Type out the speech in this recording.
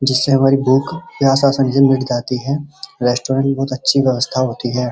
जिससे हमारी भूख मिट जाती है। रेस्टोरेंट बहोत अच्छी व्यवस्था होती है।